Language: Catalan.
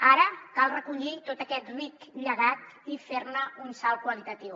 ara cal recollir tot aquest ric llegat i fer ne un salt qualitatiu